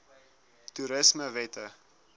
toerismewette